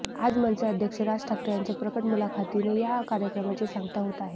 आज मनसे अध्यक्ष राज ठाकरे यांच्या प्रकट मुलाखतीने या कार्यक्रमाची सांगता होत आहे